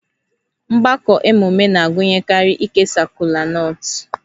Mgbakọ emume na-agụnyekarị ikesa kolanut